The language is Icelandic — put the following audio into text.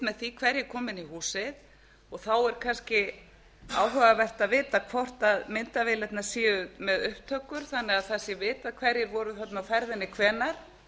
með því hverjir koma inn í húsið og þá er kannski áhugavert að vita hvort myndavélarnar eru með upptökur þannig að það sé vitað hverjir voru þarna á ferðinni og hvenær